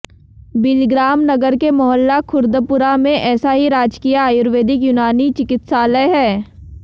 बिलग्राम नगर के मोहल्ला खुर्दपुरा में ऐसा ही राजकीय आयुर्वेदिक यूनानी चिकित्सालय है